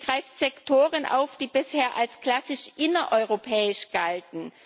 Sie greift Sektoren auf, die bisher als klassisch innereuropäisch galten.